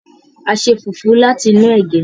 a ṣe fufu láti inú ege.